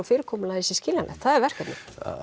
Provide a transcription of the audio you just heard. fyrirkomulagið sé skiljanlegt það er verkefnið